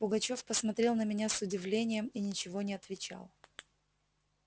пугачёв посмотрел на меня с удивлением и ничего не отвечал